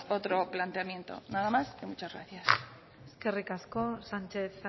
otro planteamiento nada más muchas gracias eskerrik asko sánchez